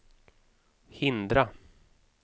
hindra